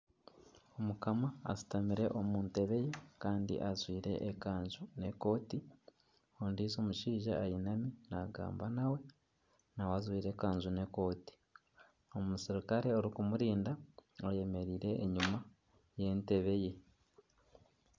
Omukama ashutamire omu ntebe ye kandi ajwire ekanju n'ekooti, ondiijo omushaija ayinami naagamba nawe, nawe ajwire ekanju n'ekooti, omuserukare orikumurinda ayemereire enyuma y'entebe ye